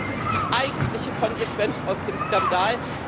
Das ist die eigentliche Konsequenz aus dem Skandal.